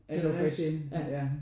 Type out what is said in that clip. Er det rigtig? Ja